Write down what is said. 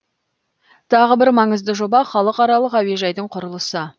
тағы бір маңызды жоба халықаралық әуежайдың құрылысы